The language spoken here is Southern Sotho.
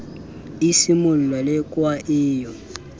e simolla lekwa e yo